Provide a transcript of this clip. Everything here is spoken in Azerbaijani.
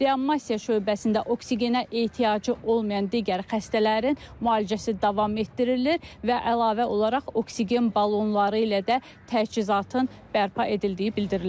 Reanimasiya şöbəsində oksigenə ehtiyacı olmayan digər xəstələrin müalicəsi davam etdirilir və əlavə olaraq oksigen balonları ilə də təchizatın bərpa edildiyi bildirilir.